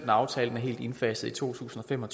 aftalen er helt indfaset i to tusind og fem og